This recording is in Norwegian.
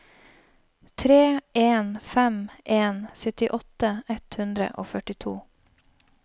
tre en fem en syttiåtte ett hundre og førtito